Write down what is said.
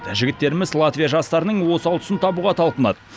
жігіттеріміз латвия жастарының осал тұсын табуға талпынады